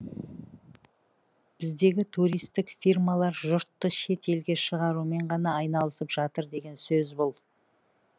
біздегі туристік фирмалар жұртты шет елге шығарумен ғана айналысып жатыр деген сөз бұл